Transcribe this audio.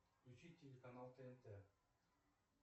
включи телеканал тнт